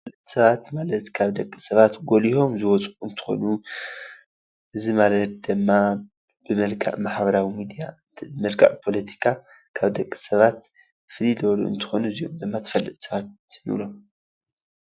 ሰባት ማለት ካብ ደቂ ሰባት ጎሊሆም ዝወፁ እንትኮኑ እዚ ማለት ድማ ብመልክዕ ማሕበራዊ ሚድያ ብመልክዕ ፖለቲካ ካብ ደቂ ሰባት ፍልይ ዝበሉ እንትኮኑ እዚኦም ድማ ተፈለጥቲ ሰባት ንብሎም፡፡